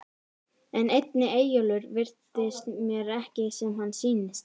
En einnig Eyjólfur virðist mér ekki sem hann sýnist.